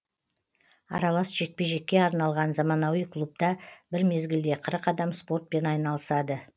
аралас жекпе жекке арналған заманауи клубта бір мезгілде қырық адам спортпен айналысады